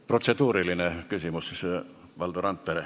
Protseduuriline küsimus, Valdo Randpere.